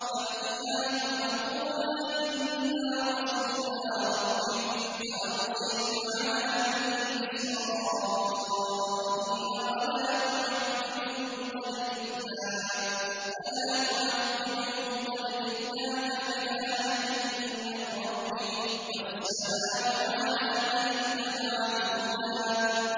فَأْتِيَاهُ فَقُولَا إِنَّا رَسُولَا رَبِّكَ فَأَرْسِلْ مَعَنَا بَنِي إِسْرَائِيلَ وَلَا تُعَذِّبْهُمْ ۖ قَدْ جِئْنَاكَ بِآيَةٍ مِّن رَّبِّكَ ۖ وَالسَّلَامُ عَلَىٰ مَنِ اتَّبَعَ الْهُدَىٰ